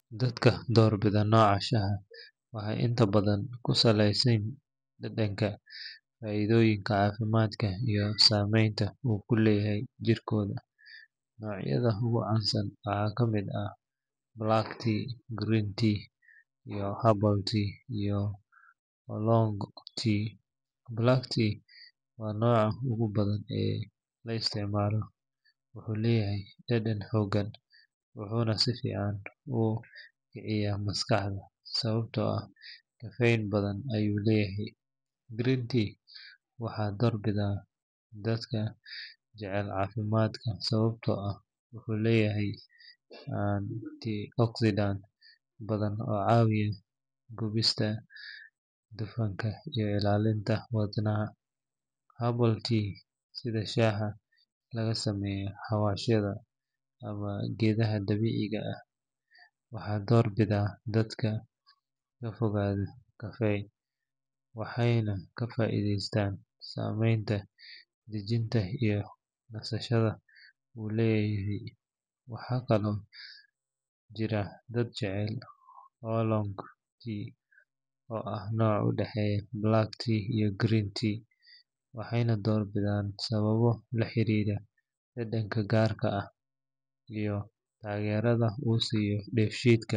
Dadka door bidha nooca shaaha waxay inta badhan kusaleysi dadanka faidhoyinka cafimaadka iyo sameynta u kuleyahay jirkotha noocyadha ugu cansan waxa kamid ah black tea, green tea, habol tea iyo long tea. black tea wa nooca ugu badhan ee la isticmalo wuxu leyahay dadan xoogan wuxuna safican u kiciya maskaxda, sawabto ah kafey badhan ayu leyahay. Green tea waxa door bidha dadka jacel cafimadka sawabto ah, wuxu leyahay Tea oxydan badhan oo cawiya jogista dufanka iyo ilalinta wadnaha. habol tea sidhi shaaha lagasameyo hawashyadha ama geedhaha dabiciga ah, waxa door bidha dadka kafogatha kafey, waxayna kafaidheystan sameynta dijinta iyo nasashadha u leyahay. Waxa Kala oo jira dad jecel holong tea oo ah noca udexeya black tea iyo green tea waxayna door bidhan sawabo laxirira dadanka gaarka ah iyo tageradha u siya def shiidka.